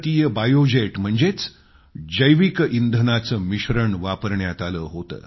biojet इंधनाचं मिश्रण वापरण्यात आलं होतं